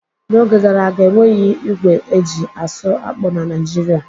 N'oge gara aga, enweghị ígwè eji-asụ akpụ na Naịjirịa.